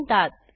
म्हणतात